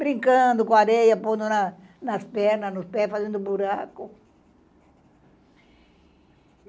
Brincando com a areia, pondo na nas pernas, nos pés, fazendo buraco.